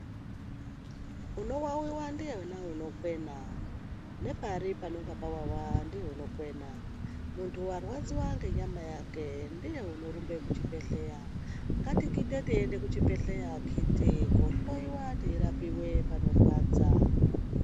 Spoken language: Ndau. Unowawiwa ndiyena unokwena, nepari panenge pawawa ndiye unokwena. Muntu warwadziwa ngenyama yakwe ndiye unorumbe kuchibhedhlera. Ngatigidhe teiende kuchibhedhlera akhiti kohloyiwa teirapiwe panorwadza.